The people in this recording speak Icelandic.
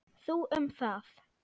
Þú um það.